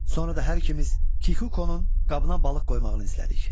Sonra da hər ikimiz Kikukonun qabına balıq qoymağını izlədik.